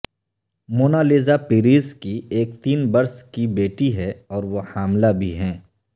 مونا Lisa Perez کی ایک تین برس کی بیٹی ہے اور وہ حاملہ بھی ہیں